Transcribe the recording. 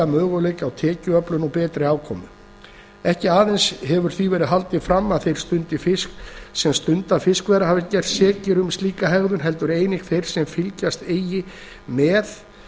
möguleika til tekjuöflunar og betri afkomu ekki aðeins hefur því verið haldið fram að þeir sem stunda fiskveiðar hafi gerst sekir um slíka hegðun heldur einnig þeir sem fylgjast eiga með